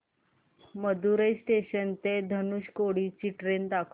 Madurai junction ते धनुषकोडी ची train दाखव